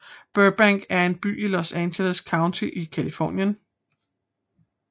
Burbank er en by i Los Angeles County i Californien